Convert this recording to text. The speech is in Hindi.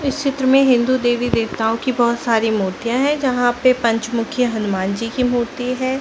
इस चित्र में हिन्दू देवी देवताओं की बहुत सारी मूर्तिया हैं जहाँ पे पंचमुखी हनुमान जी की मूर्ति है।